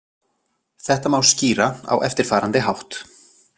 Þetta má skýra á eftirfarandi hátt.